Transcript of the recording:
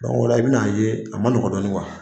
Dɔnku, i bɛn'a ye a ma nɔgɔn dɔɔnin kuwa.